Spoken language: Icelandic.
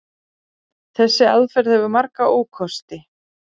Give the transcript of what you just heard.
Þessi aðferð hefur marga ókosti.